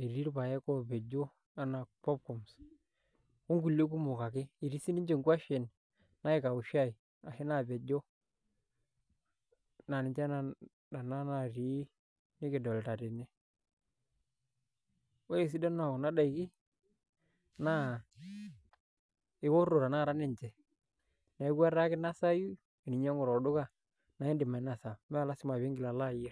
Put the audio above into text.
etii irpaek oopejo aa popcorns okulie kumok ake etii sininche nkuashen naikaushai ashu naapejo naa ninche nena naatii nikidolita tene, ore esidano ekuna daiki naa eoto tanakata ninche neeku etaa kinasayu teninyiang'u tolduka naa iindim ainasa mee lasima pee iingila alo ayierr.